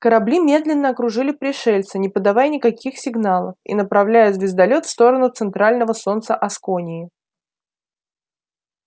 корабли медленно окружили пришельца не подавая никаких сигналов и направляя звездолёт в сторону центрального солнца аскони